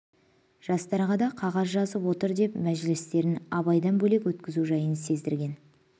жастарға да қағаз жазып отыр деп мәжілістерін абайдан бөлек өткізу жайын сездірген